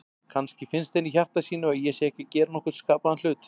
Kannski finnst henni í hjarta sínu að ég sé ekki að gera nokkurn skapaðan hlut.